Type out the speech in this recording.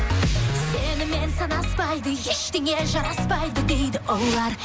сенімен санаспайды ештеңе жараспайды дейді олар